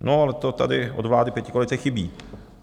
No ale to tady od vlády pětikoalice chybí.